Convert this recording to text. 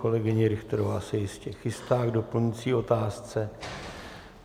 Kolegyně Richterová se jistě chystá k doplňující otázce.